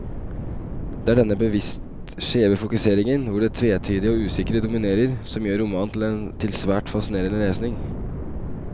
Det er denne bevisst skjeve fokuseringen, hvor det tvetydige og usikre dominerer, som gjør romanen til svært fascinerende lesning.